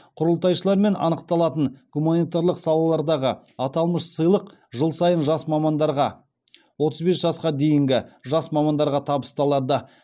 құрылтайшылармен анықталатын гуманитарлық салалардағы аталмыш сыйлық жыл сайын жас мамандарға табысталады